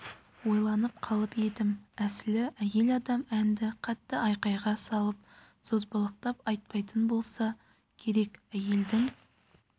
ойланып қалып едім әсілі әйел адам әнді қатты айқайға салып созбалақтап айтпайтын болса керек әйелдің